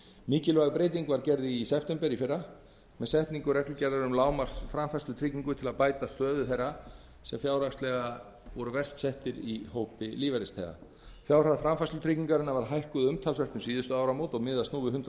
mikilvæg breyting var gerð í september í fyrra með setningu reglugerðar um lágmarksframfærslutryggingu til að bæta stöðu þeirra sem fjárhagslega eru verst settir í hópi lífeyrisþega fjárhæð framfærslutryggingarinnar var hækkuð umtalsvert um síðustu áramót og miðast nú við hundrað